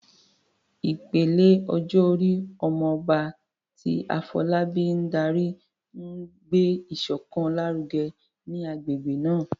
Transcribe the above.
Ìpele ọjọ́ orí "Omo Oba," tí Afolabi ń darí, ń gbé ìṣọ̀kan lárugẹ ní agbègbè náà.